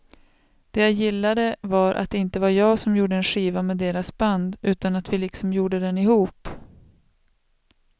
Det jag gillade var att det inte var jag som gjorde en skiva med deras band utan att vi liksom gjorde den ihop.